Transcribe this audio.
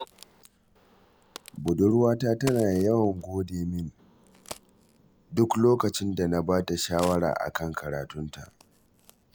Budurwata tana yawan gode mini duk lokacin da na ba ta shawara a kan karatunta